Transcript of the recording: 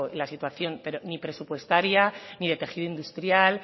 la situación ni presupuestaria ni de tejido industrial